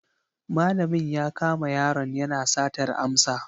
Malamin ya kama yaron yana satar amsa.